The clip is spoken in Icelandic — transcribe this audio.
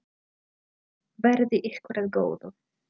Verði ykkur að góðu.